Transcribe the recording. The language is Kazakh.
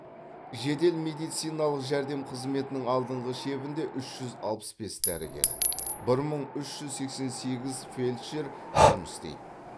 жедел медициналық жәрдем қызметінің алдыңғы шебінде үш жүз алпыс бес дәрігер бір мың үш жүз сексен сегіз фельдшер жұмыс істейді